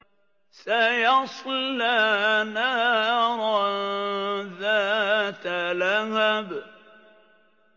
سَيَصْلَىٰ نَارًا ذَاتَ لَهَبٍ